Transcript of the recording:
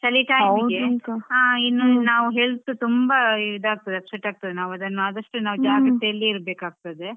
ಹೌದು ಹೌದು ಇನ್ನು ಚಳಿ time ನೋಡಿ ಚಳಿ time ಗೆ ಇನ್ನು ನಾವ್ health ಈದ್ ಆಗ್ತದೆ upset ಆಗ್ತದೆ ನಾವ್ ಅದನ್ನು ಆದಷ್ಟು ಜಾಗ್ರತೆ ಅಲ್ಲಿಯೇ ಇರ್ಬೇಕು ಆಗ್ತದೆ.